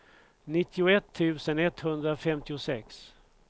nittioett tusen etthundrafemtiosex